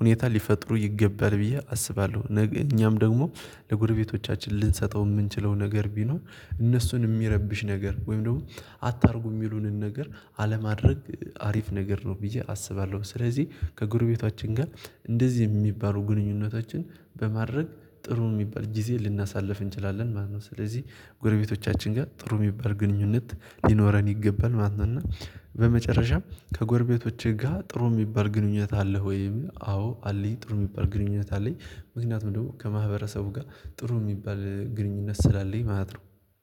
ሁኔታ ሊፈጥሩ ይገባል ብዬ አስባለሁ እኛም ደግሞ ለጎረቤቶቻችን ልንሰጠው የምንችለው ነገር ቢኖር እነሱን የሚረብሽ ነገር ወይም ደግሞ አታርጉ የሚሉንን ነገር አለማድረግ አሪፍ ነገር ነው ብዬ አስባለሁ ስለዚህ ከጎረቤታችን ጋር እንደዚህ የሚባሉ ግንኙነታችን በማድረግ ጥሩ የሚባል ጊዜ ልናሳልፍ እንችላለን ማለት ነው ስለዚህ ጎረቤቶቻችን ጋር ጥሩ የሚባል ግንኙነት ሊኖረን ይገባል ማለት ነው እና በመጨረሻም ከጎረቤቶቼ ጋር ጥሩ የሚባል ግንኙነት አለህ ወይ? አዎ አለኝ ጥሩ የሚባል ግንኙነት አለኝ ምክንያቱም ደግሞ ከማህበረሰቡ ጋር ጥሩ የሚባል ግንኙነት ስላለኝ ማለት ነው